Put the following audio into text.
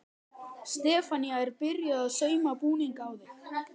Stefanía er byrjuð að sauma búning á þig.